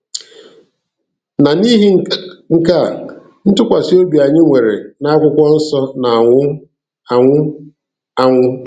Na n'ihi nke a, ntụkwasị obi anyị nwere n'akwụkwọ nsọ na-anwụ anwụ. anwụ.